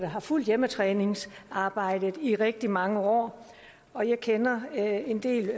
har fulgt hjemmetræningsarbejdet i rigtig mange år og jeg kender en del